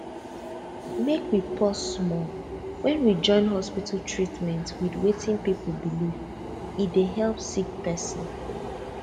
make we pause small when we join hospital treatment with wetin people believe e dey help sick person